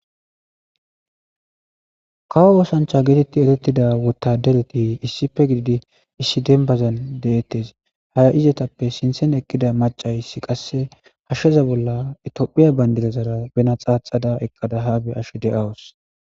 Kawo osancha getitidi eretida wotadara getetidaysati issippe gididi issi dembaza detes izatappe sintan eqida macay hasheza bolla tophiya bandiraza xaxada eqada ha bea'she dea'wus